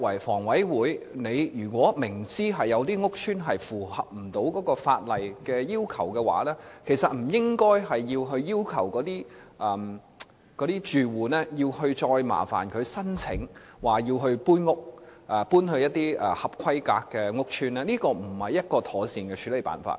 房委會如果明知有一些租置屋邨無法符合法例要求，妥善的處理辦法不是要求住戶申請調遷到一些合規格的屋邨居住，而是作出改善。